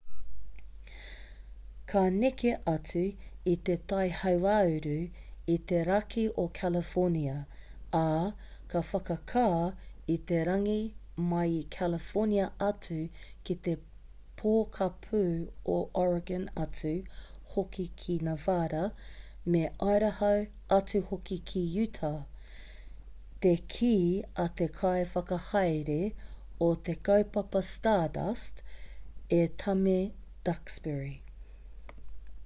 ka neke atu i te tai hauāuru i te raki o california ā ka whakakā i te rangi mai i california atu ki te pokapū o oregon atu hoki ki nevada me idaho atu hoki ki utah te kī a te kai whakahaere o te kaupapa stardust e tame duxbury